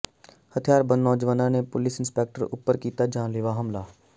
ਹਥਿਆਰਬੰਦ ਨੌਜਵਾਨਾਂ ਨੇ ਪੁਲਿਸ ਇੰਸਪੈਕਟਰ ਉੱਪਰ ਕੀਤਾ ਜਾਨਲੇਵਾ ਹਮਲਾ